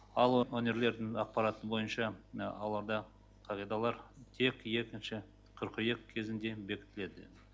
ал өңірлердің ақпараты бойынша оларда қағидалар тек екінші қыркүйек кезінде бекітіледі